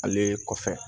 Ale kɔfɛ